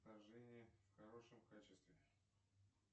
вторжение в хорошем качестве